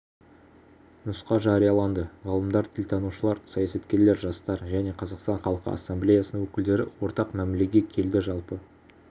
нұсқа жарияланды ғалымдар тілтанушылар саясаткерлер жастар және қазақстан халқы ассамблеясының өкілдері ортақ мәмілеге келді жалпы